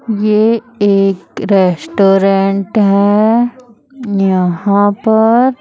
ये एक रेस्टोरेंट हैं यहां पर--